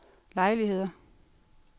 lejligheder